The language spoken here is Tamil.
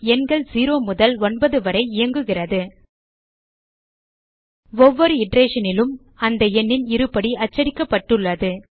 எண்கள் 0 முதல் 9 வரை இயங்குகிறது ஒவ்வொரு iterationனிலும் அந்த எண்ணின் இருபடி அச்சடிக்கப்பட்டுள்ளது